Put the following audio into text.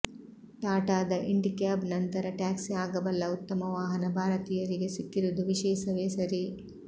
ಟಾಟಾದ ಇಂಡಿಕ್ಯಾಬ್ ನಂತರ ಟ್ಯಾಕ್ಸಿ ಆಗಬಲ್ಲ ಉತ್ತಮ ವಾಹನ ಭಾರತೀಯರಿಗೆ ಸಿಕ್ಕಿರುವುದು ವಿಶೇಷವೇ ಸರಿ